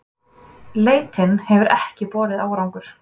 Leitin hefur ekki borið árangur